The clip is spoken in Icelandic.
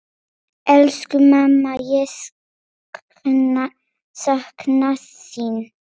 Elsku mamma, ég sakna þín.